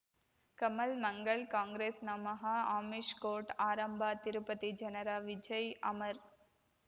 ಕಮಲ್ ಮಂಗಳ್ ಕಾಂಗ್ರೆಸ್ ನಮಃ ಅಮಿಷ್ ಕೋರ್ಟ್ ಆರಂಭ ತಿರುಪತಿ ಜನರ ವಿಜಯ್ ಅಮರ್